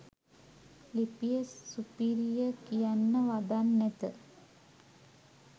ලිපිය සුපිරිය කියන්න වදන් නැත